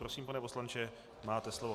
Prosím, pane poslanče, máte slovo.